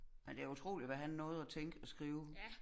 Men det utroligt hvad han nåede at tænke og skrive